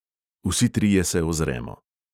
Vsi trije se ozremo.